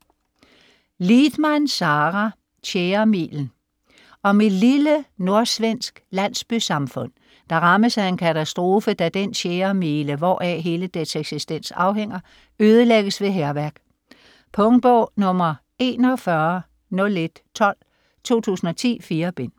Lidman, Sara: Tjæremilen Om et lille nordsvensk landsbysamfund, der rammes af en katastrofe, da den tjæremile, hvoraf hele dets eksistens afhænger, ødelægges ved hærværk. Punktbog 410112 2010. 4 bind.